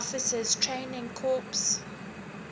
officers training corps